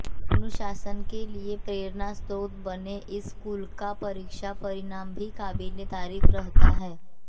अनुशासन के लिए प्रेरणा स्रोत बने इस स्कूल का परीक्षा परिणाम भी काबिलेतारीफ रहता है